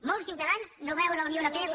molts ciutadans no veuen la unió europea com